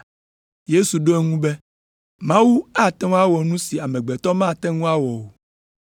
Yesu ɖo eŋu be, “Mawu ate ŋu awɔ nu si amegbetɔ mate ŋu awɔ o!”